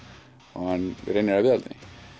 og reynir að viðhalda